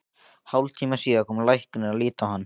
Hálftíma síðar kom læknir að líta á hann.